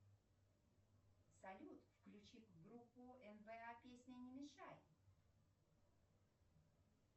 салют включи группу нба песня не мешай